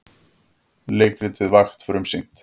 Leikritið Vakt frumsýnt